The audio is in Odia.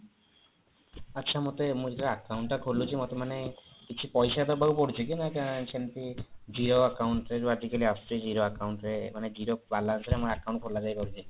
ଆଚ୍ଛା ମୋତେ ମୁଁ ଯେତେବେଳେ account ଟା ଖୋଲୁଛି ମୋତେ ମାନେ କିଛି ପଇସା ଦବାକୁ ପଡୁଛି କି ନା ସେମତି zero account ରେ ଯୋଉ ଆଜି କାଲି ଆସୁଛି zero account ରେ ମାନେ zero balance ରେ ଆମ account ଖୋଲାଯାଇପାରୁଛି